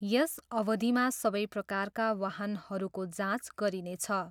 यस अवधिमा सबै प्रकारका वाहनहरूको जाँच गरिनेछ।